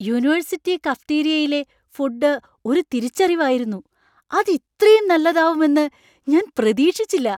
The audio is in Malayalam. യൂണിവേഴ്സിറ്റി കഫറ്റീരിയയിലെ ഫുഡ് ഒരു തിരിച്ചറിവായിരുന്നു. അത് ഇത്രേം നല്ലതാവുമെന്ന് ഞാൻ പ്രതീക്ഷിച്ചില്ല.